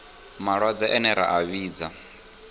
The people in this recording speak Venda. malwadze ane ra a vhidza